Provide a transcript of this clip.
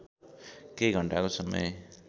केही घण्टाको समय